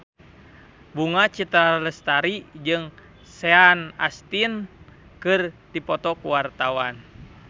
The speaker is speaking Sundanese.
Bunga Citra Lestari jeung Sean Astin keur dipoto ku wartawan